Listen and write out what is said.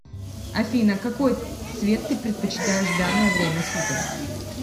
афина какой цвет ты предпочитаешь в данное время суток